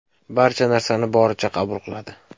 Barcha narsani boricha qabul qiladi.